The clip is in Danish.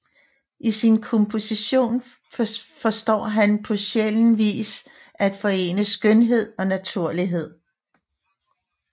I sin komposition forstår han på sjælden vis at forene skønhed og naturlighed